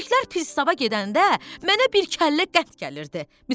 Yüzlüklər Pristava gedəndə mənə bir kəllə qət gəlirdi.